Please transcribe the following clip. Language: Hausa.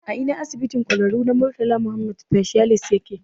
A Ina asibitin ƙwararru na Murtala Muhammed Specialist yake?